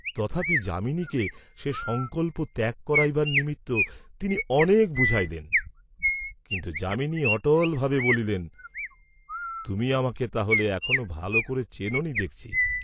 তথাপি যামিনীকে সে সংকল্প ত্যাগ করাইবার নিমিত্ত তিনি অনেক বুঝাইলেন, কিন্তু যামিনী অটলভাবে বলিলেন, "তুমি আমাকে তাহলে এখনও ভাল করে চেনোনি দেখছি।"